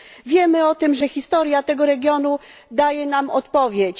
Wiemy o tym, że historia tego regionu daje nam odpowiedź.